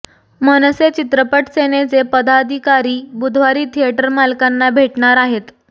मनसे चित्रपट सेनेचे पदाधिकारी बुधवारी थिएटर मालकांना भेटणार आहेत